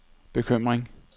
bekymring